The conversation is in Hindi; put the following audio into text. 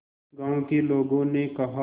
गांव के लोगों ने कहा